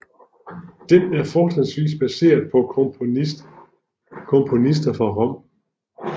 Den er fortrinsvis baseret på komponister fra Rom